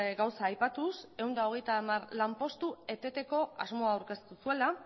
gauza aipatuz ehun eta hogeita hamar lanpostu eteteko asmoa aurkeztu zuela